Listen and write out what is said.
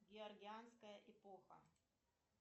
георгианская эпоха